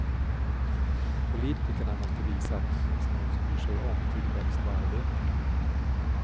Politikerna måste visa att det finns någon som bryr sig om tillväxt och arbete.